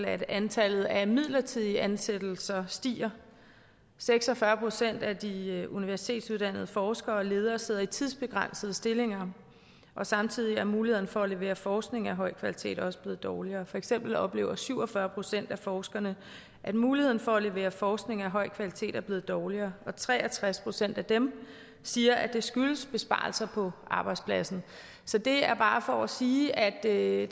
at antallet af midlertidige ansættelser stiger seks og fyrre procent af de universitetsuddannede forskere og ledere sidder i tidsbegrænsede stillinger og samtidig er mulighederne for at levere forskning af høj kvalitet også blevet dårligere for eksempel oplever syv og fyrre procent af forskerne at muligheden for at levere forskning af høj kvalitet er blevet dårligere og tre og tres procent af dem siger at det skyldes besparelser på arbejdspladsen så det er bare for at sige at